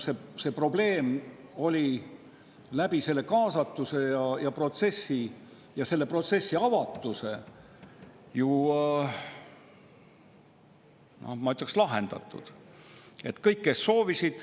See probleem oli selle kaasatuse ja protsessi avatusega ju, ma ütleksin, lahendatud.